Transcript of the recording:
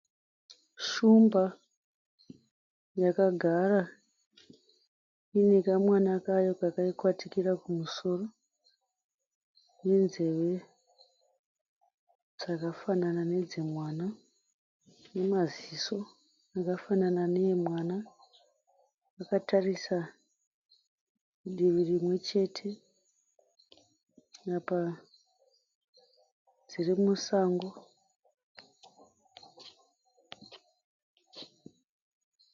Shumba yakagara iinekamwana kayo kakaikwatikira kumusoro nenzeve dzakafanana nedzemwana, nemaziso akafanana neemwana. Zvakatarisa divi rimwechete, apa dziri musango.